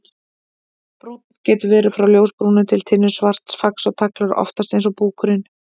Brúnn: Getur verið frá ljósbrúnu til tinnusvarts, fax og tagl eru oftast eins og búkurinn.